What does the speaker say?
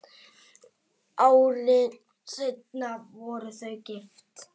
Ári seinna voru þau gift.